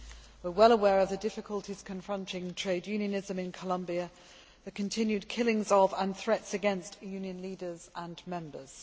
We are well aware of the difficulties confronting trade unionism in Colombia, and the continued killings of, and threats against, union leaders and members.